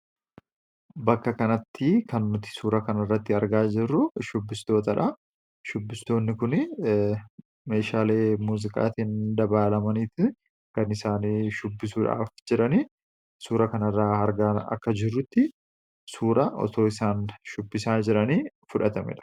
bakka kanatti kan nuti suura kanirratti argaa jirru shubbistootadha. shubbistoonni kun meeshaale muziqaatiin dabaalamaniiti gan isaanii shubbisuudhaaf jiranii suura kanirraa argan akka jirrutti suura otoo isaan shubbisaa jiranii fudhatamera.